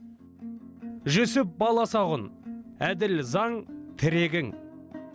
жүсіп баласағұн әділ заң тірегің